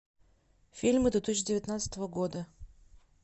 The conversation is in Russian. фильмы две тысячи девятнадцатого года